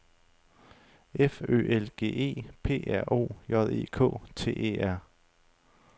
F Ø L G E P R O J E K T E R